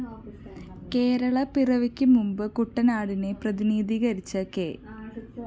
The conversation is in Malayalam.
കേരളപ്പിറവിക്കു മുമ്പ് കുട്ടനാടിനെ പ്രതിനിധീകരിച്ച കെ